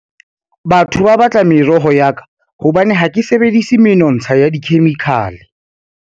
Batho ba batla meroho ya ka hobane ha ke sebedisi menontsha ya dikhemikhale.